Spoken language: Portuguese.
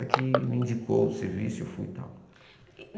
Ela que me indicou o serviço e eu fui tal.